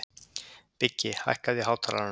Biggi, hækkaðu í hátalaranum.